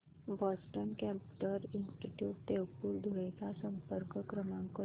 Boston computer institute Deopur Dhule चा संपर्क क्रमांक शोध